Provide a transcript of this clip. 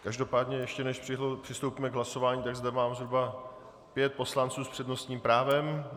Každopádně ještě než přistoupíme k hlasování, tak zde mám zhruba pět poslanců s přednostním právem.